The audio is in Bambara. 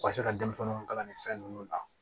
U ka se ka denmisɛnninw kalan nin fɛn ninnu na